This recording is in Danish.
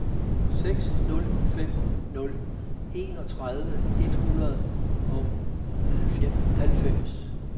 seks nul fem nul enogtredive et hundrede og halvfems